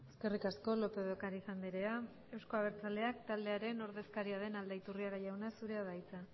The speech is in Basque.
eskerrik asko lópez de ocariz andrea eusko abertzaleak taldearen ordezkaria den aldaiturriaga jauna zurea da hitza